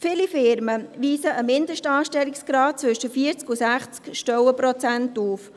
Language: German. Viele Firmen weisen einen Mindestanstellungsgrad zwischen 40 und 60 Stellenprozenten auf.